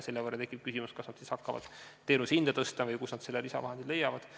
Seepeale tekib küsimus, kas nad peavad siis hakkama selle võrra teenuse hinda tõstma või kust nad lisavahendid leiavad.